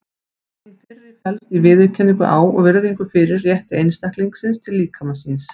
Hin fyrri felst í viðurkenningu á og virðingu fyrir rétti einstaklingsins til líkama síns.